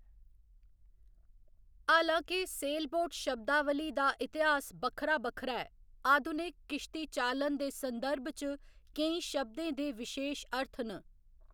हालांके सेलबोट शब्दावली दा इतिहास बक्खरा बक्खरा ऐ, आधुनिक किश्तीचालन दे संदर्भ च केईं शब्दें दे विशेश अर्थ न।